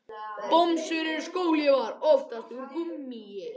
Bomsur eru skóhlífar, oftast úr gúmmíi.